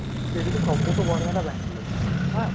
ସବୁଠୁ ବଢିଆ ହେଲା ବାଙ୍ଗାଲୁର ହଁ